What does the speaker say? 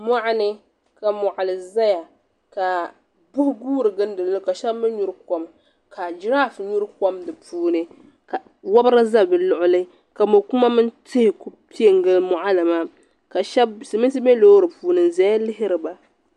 Mɔɣini ka mɔɣili zaya ka buhi guuri gilindili ka shaba mi nyuri kɔm ka giraaf nyuri kɔm di puuni ka wabri za bi luɣuli ka mɔri kuma mini tihi Ku piɛ n gili mɔɣili maa ka silmiinsi bɛ loori puuni n zaya lihiriba.